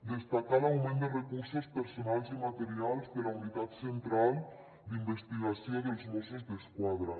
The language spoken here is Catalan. destacar l’augment de recursos personals i materials de la unitat central d’investigació dels mossos d’esquadra